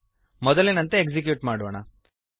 ಮೊದಲಿನಂತೆ ಎಕ್ಸಿಕ್ಯೂಟ್ ಮಾಡೋಣ